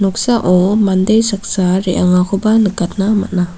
mande saksa re·angakoba nikatna man·a.